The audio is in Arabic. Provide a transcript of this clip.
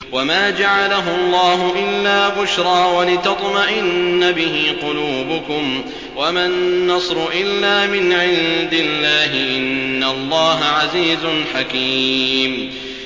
وَمَا جَعَلَهُ اللَّهُ إِلَّا بُشْرَىٰ وَلِتَطْمَئِنَّ بِهِ قُلُوبُكُمْ ۚ وَمَا النَّصْرُ إِلَّا مِنْ عِندِ اللَّهِ ۚ إِنَّ اللَّهَ عَزِيزٌ حَكِيمٌ